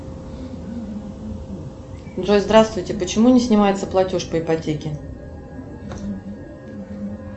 джой здравствуйте почему не снимается платеж по ипотеке